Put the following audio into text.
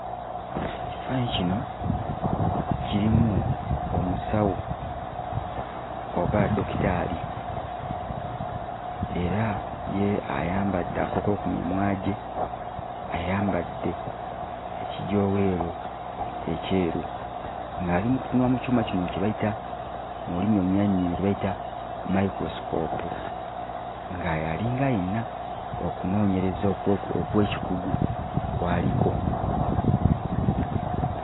Ekifaananyi kino kirimu omusawo oba dokitaali era ye ayambadde akakookolo ku mimwa gye, ayambadde ekijooweero ekyeru ng'ali mu kutunula mu kyuma kino kye bayita mu lulimi olunyaanyimbe kye bayita mayikulosikoopu, nga y'alinga ayina okunoonyereza okw'ekikugu kw'aliko.